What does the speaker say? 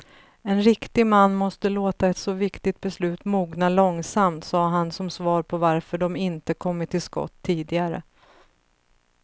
En riktig man måste låta ett så viktigt beslut mogna långsamt, sade han som svar på varför de inte kommit till skott tidigare.